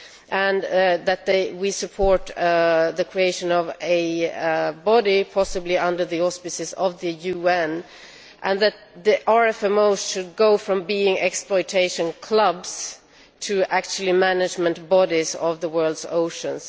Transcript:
and that we support the creation of a body, possibly under the auspices of the UN, and that the RFMOs should go from being exploitation clubs to actually management bodies of the world's oceans.